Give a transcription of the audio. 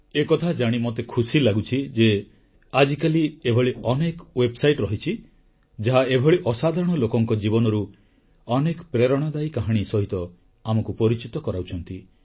ଏକଥା ଜାଣି ମୋତେ ଖୁସି ଲାଗୁଛି ଯେ ଆଜିକାଲି ଏଭଳି ଅନେକ ୱେବସାଇଟ ରହିଛି ଯାହା ଏଭଳି ଅସାଧାରଣ ଲୋକଙ୍କ ଜୀବନରୁ ଅନେକ ପ୍ରେରଣାଦାୟୀ କାହାଣୀ ସହିତ ଆମକୁ ପରିଚିତ କରାଉଛନ୍ତି